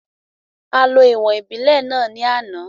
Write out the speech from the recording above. A lo ìwọ̀n ìbílẹ̀ náà ní àná